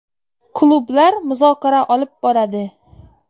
Klublar muzokara olib boradi.